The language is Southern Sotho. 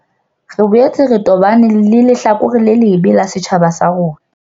Re boetse re tobane le lehlakore le lebe la setjhaba sa rona.